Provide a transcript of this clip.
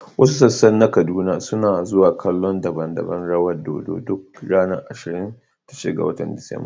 Wasu sassa na Kaduna suna zuwa kallon daban-daban rawan dodo duk ranar ashirin da shida ga Disamba.